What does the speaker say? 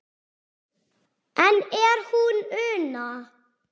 Enn er hún Una